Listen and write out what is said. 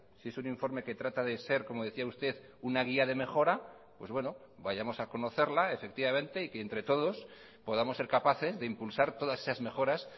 si es un informe que trata de ser como decía usted una guía de mejora pues bueno vayamos a conocerla efectivamente y que entre todos podamos ser capaces de impulsar todas esas mejoras